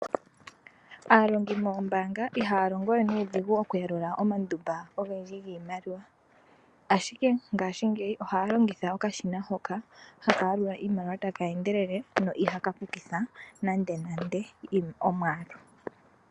Aalongi mombaanga ihaya longowe nuudhigu oku yalula omandumba ogendji giimaliwa, ashike ngashingeyi ohaya longitha okashina hoka haka yalula iimaliwa ta keendelele no ihaka pukitha nande nande omwaalu.